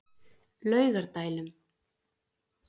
Laugardælum